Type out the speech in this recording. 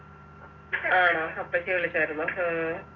ആണോ അപ്പച്ചി വിളിച്ചാരുന്നോ ഉം